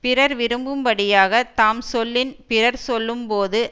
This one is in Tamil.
பிறர் விரும்பும் படியாகத் தாம் சொல்லின் பிறர் சொல்லும் போது